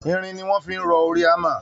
Irin ni wọ́n fi rọ orí hammer